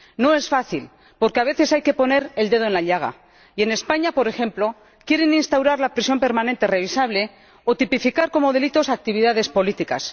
No es fácil, porque a veces hay que poner el dedo en la llaga, y en España, por ejemplo, quieren instaurar la prisión permanente revisable o tipificar como delitos actividades políticas.